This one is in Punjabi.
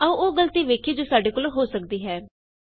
ਆਉ ਉਹ ਗਲਤੀ ਵੇਖੀਏ ਜੋ ਸਾਡੇ ਕੋਲੋਂ ਹੋ ਸਕਦੀ ਹਾਂ